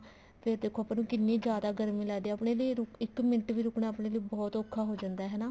ਫ਼ੇਰ ਦੇਖੋ ਆਪਾਂ ਨੂੰ ਕਿੰਨੀ ਜਿਆਦਾ ਗਰਮੀ ਲੱਗਦੀ ਹੈ ਆਪਣੇ ਲਈ ਆਪਣੇ ਲਈ ਇੱਕ ਮਿੰਟ ਵੀ ਰੁਕਣਾ ਬਹੁਤ ਔਖਾ ਹੋ ਜਾਂਦਾ ਹਨਾ